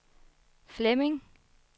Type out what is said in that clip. Flemming